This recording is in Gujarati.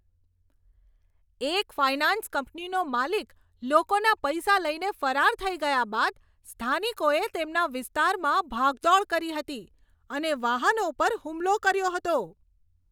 એક ફાઇનાન્સ કંપનીનો માલિક લોકોના પૈસા લઈને ફરાર થઈ ગયા બાદ સ્થાનિકોએ તેમના વિસ્તારમાં ભાગદોડ કરી હતી અને વાહનો પર હુમલો કર્યો હતો.